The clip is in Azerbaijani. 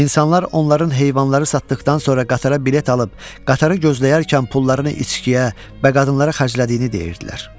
İnsanlar onların heyvanları satdaxdan sonra qatara bilet alıb, qatarı gözləyərkən pullarını içkiyə və qadınlara xərclədiyini deyirdilər.